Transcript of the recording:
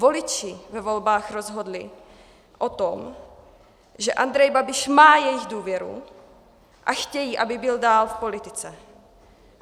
Voliči ve volbách rozhodli o tom, že Andrej Babiš má jejich důvěru, a chtějí, aby byl dál v politice.